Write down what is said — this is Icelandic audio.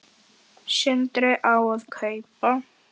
Sindri: Hvað á að kaupa?